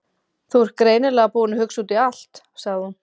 Þú ert greinilega búinn að hugsa út í allt- sagði hún.